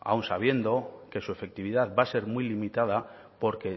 aun sabiendo que su efectividad va a ser muy limitada porque